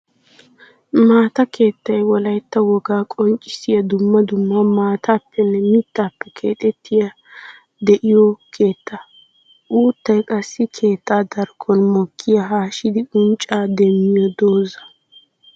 Maata keettay wolaytta wogaa qonccissiya dumma dumma maatappenne mittappe keexettiya de'iyo keetta. Uuttay qassi keetta darkkon mokkiya haashshiddi uncca demmiyo dooza.